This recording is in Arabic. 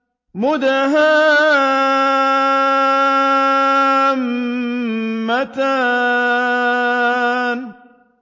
مُدْهَامَّتَانِ